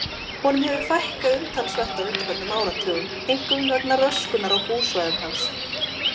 Honum hefur fækkað umtalsvert á undanförnum áratugum, einkum vegna röskunar á búsvæðum hans.